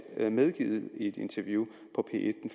selv medgivet i et interview på p en